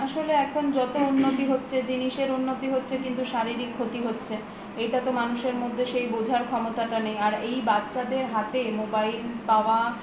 আসলে এখন যত উন্নতি হচ্ছে জিনিসের উন্নতি হচ্ছে কিন্তু শারীরিক ক্ষতি হচ্ছে এটা তো মানুষের মধ্যে সেই বোঝার ক্ষমতাটা নেই আর এই বাচ্ছাদের হাতে mobile পাওয়া